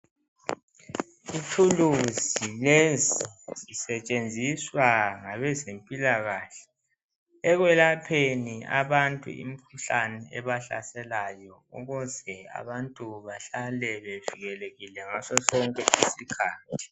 Ithuluzi lezi zisetshenziswa ngabezempilahle ekwelapheni abantu imikhuhlanae ebahlaselayo ukuze abantu bahlale bevikelikile ngaso sonke isikhathi.